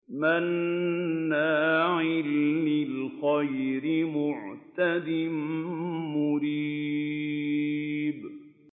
مَّنَّاعٍ لِّلْخَيْرِ مُعْتَدٍ مُّرِيبٍ